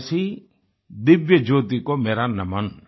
ऐसी दिव्यज्योति को मेरा नमन